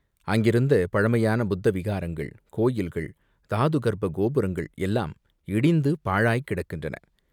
அங்கிருந்த பழமையான புத்த விஹாரங்கள், கோயில்கள், தாது கர்ப்ப கோபுரங்கள் எல்லாம் இடிந்து பாழாய்க் கிடக்கின்றன.